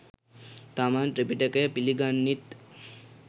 තමන් ත්‍රිපිටකය පිළිගන්නෙත්